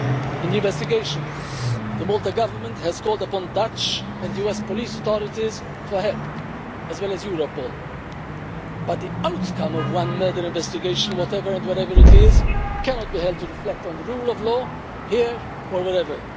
In the investigation the Maltese Government has called upon the Dutch and US police authorities, as well as Europol, for help, but the outcome of one murder investigation, whatever and whenever it is, cannot be held to reflect on the rule of law here or wherever.